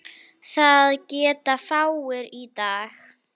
Það geta fáir í dag.